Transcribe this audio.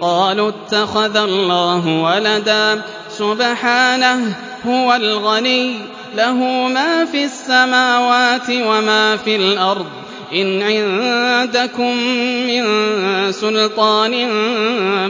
قَالُوا اتَّخَذَ اللَّهُ وَلَدًا ۗ سُبْحَانَهُ ۖ هُوَ الْغَنِيُّ ۖ لَهُ مَا فِي السَّمَاوَاتِ وَمَا فِي الْأَرْضِ ۚ إِنْ عِندَكُم مِّن سُلْطَانٍ